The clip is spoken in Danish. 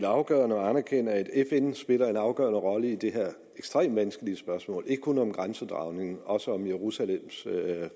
afgørende at anerkende at fn spiller en afgørende rolle i det her ekstremt vanskelige spørgsmål ikke kun om grænsedragningen men også om jerusalems